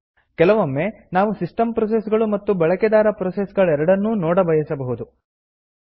ಕೆಲವೊಮ್ಮೆ ನಾವು system process ಗಳು ಮತ್ತು ಬಳಕೆದಾರ ಪ್ರೋಸೆಸ್ ಗಳೆರಡನ್ನೂ ನೋಡಬಯಸಬಹುದು